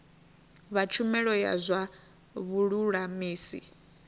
vha tshumelo ya zwa vhululamisi